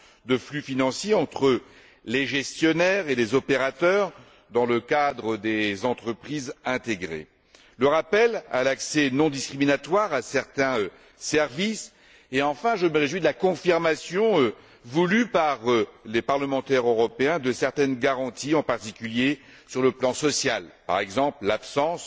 des flux financiers entre les gestionnaires et les opérateurs dans le cadre des entreprises intégrées, le rappel à l'accès non discriminatoire à certains services et, enfin, je me réjouis de la confirmation, voulue par les parlementaires européens, de certaines garanties, en particulier sur le plan social, par exemple l'absence